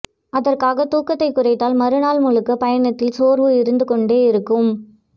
அதற்காகத் தூக்கத்தைக் குறைத்தால் மறுநாள் முழுக்க பயணத்தில் சோர்வு இருந்துகொண்டே இருக்கும்